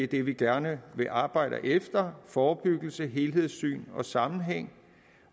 det de gerne vil arbejde efter forebyggelse helhedssyn og sammenhæng